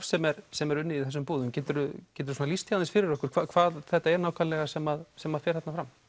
sem er sem er unnið í þessum búðum geturðu geturðu lýst því aðeins fyrir okkur hvað það er nákvæmlega sem sem fer þarna fram